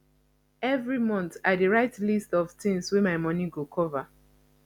every month i dey write list of things wey my money go cover